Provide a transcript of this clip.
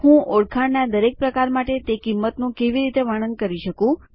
હું ઓળખાણનાં દરેક પ્રકાર માટે તે કિંમતનું કેવી રીતે વર્ણન કરી શકું